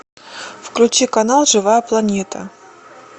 включи канал живая планета